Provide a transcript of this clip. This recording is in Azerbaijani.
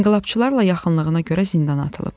İnqilabçılarla yaxınlığına görə zindana atılıb.